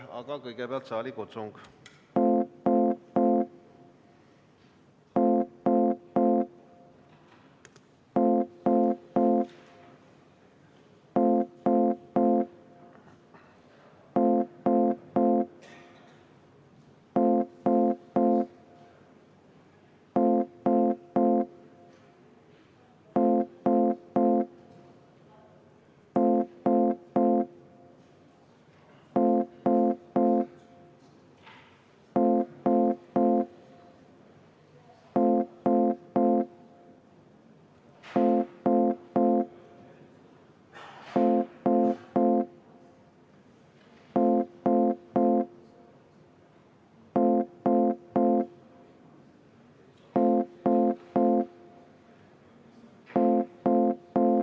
Aga kõigepealt saalikutsung.